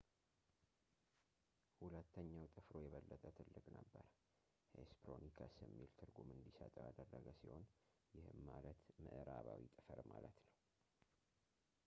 ሁለተኛው ጥፍሩ የበለጠ ትልቅ ነበር ሄስፐሮኒከስ የሚል ትርጉም እንዲሰጠው ያደረገ ሲሆን ይህም ማለት ምዕራባዊ ጥፍር ማለት ነው